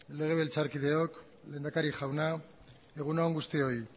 legebiltzarkideok lehendakaria jauna egun on guztioi